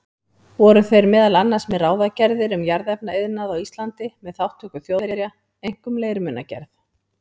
Voru þeir meðal annars með ráðagerðir um jarðefnaiðnað á Íslandi með þátttöku Þjóðverja, einkum leirmunagerð.